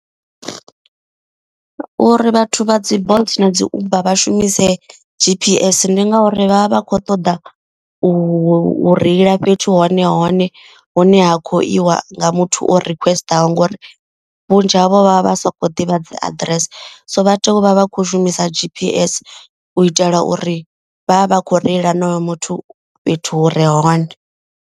Uri vhathu vha dzi bolt na dzi uber vha shumise G_P_S ndi ngauri vha vha vha kho ṱoḓa u reila fhethu hone hone. Hune ha khou iwa nga muthu o requester ngori vhunzhi havho vha vha vha soko ḓivha dzi aḓirese. So vha tea u vha vha kho shumisa G_P_S u itela uri vha vha vha kho reila honoyo muthu fhethu hu re hone.